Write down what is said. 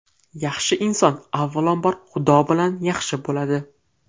Yaxshi inson avvalambor Xudo bilan yaxshi bo‘ladi.